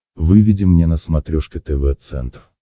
выведи мне на смотрешке тв центр